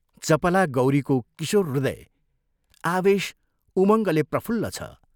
चपला गौरीको किशोर हृदय आवेश उमङ्गले प्रफुल्ल छ।